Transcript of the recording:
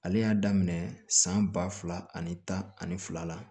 Ale y'a daminɛ san ba fila ani tan ani fila